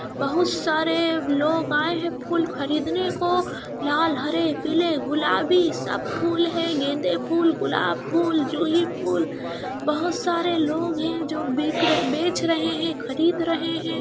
बहुत सारे लोग आये है फूल खरीदने को । लाल हरे पीले गुलाबी सब फूल है। गेंदे फूल गुलाब फूल झूहीँ फूल । बहुत सारे लोग है जो बेकर बेच रहे है खरीद रहे है।